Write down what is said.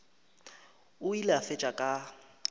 o ile a fetša ka